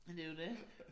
Men det jo dét